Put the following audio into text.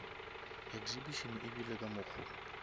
exhibition e ebile ka mokgo